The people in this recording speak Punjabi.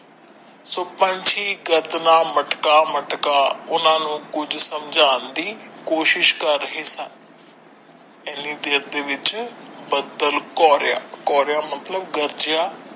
ਸੋ ਪੰਛੀ ਦਰਦ ਨਾਲ ਮਟਕਾ ਮਟਕਾ ਉਹਨਾਂ ਨੂੰ ਕੁਝ ਸਮਝਣਾ ਦੀ ਕੋਸ਼ਿਸ਼ ਕਰ ਰਹੇ ਸਨ ਇਹਨੀ ਦੇਰ ਦੇ ਵਿੱਚ ਬੱਦਲ ਕੋਰੀਆ ਕੋਰੀਆ ਮਤਲਬ ਗਰਜਿਆ।